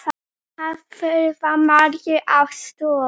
Þar þurfa margir aðstoð.